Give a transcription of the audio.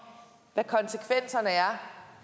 hvad konsekvenserne er